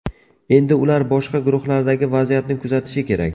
Endi ular boshqa guruhlardagi vaziyatni kuzatishi kerak.